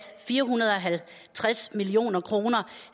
fire hundrede og halvtreds million kroner